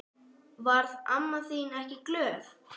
Varð amma þín ekki glöð?